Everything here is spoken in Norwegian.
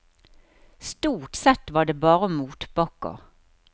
Stort sett var det bare motbakker.